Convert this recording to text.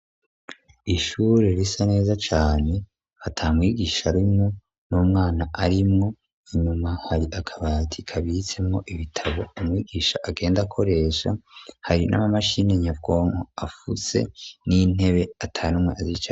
Ishure risa neza cane atamwigisha arimo n'umwana arimwo inyuma hari akabati kabitsemo ibitabo . Umwigisha agenda akoresha hari n'amamashini nyabwonko afuse n'intebe atanumwe azicayeko.